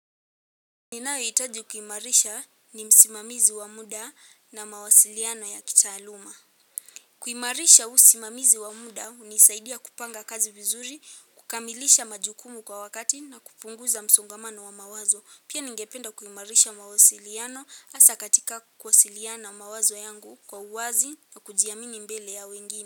Ninayohitaji kuimarisha ni msimamizi wa muda na mawasiliano ya kitaaluma. Kuimarisha usimamizi wa muda hunisaidia kupanga kazi vizuri, kukamilisha majukumu kwa wakati na kupunguza msongamano wa mawazo. Pia ningependa kuimarisha mawasiliano hasa katika kuwasiliana mawazo yangu kwa uwazi na kujiamini mbele ya wengine.